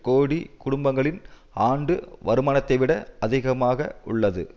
கோடி குடும்பங்களின் ஆண்டு வருமானத்தை விட அதிகமாக உள்ளது